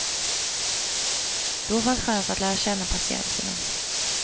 Då fanns chans att lära känna patienterna.